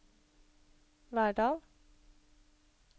Verdal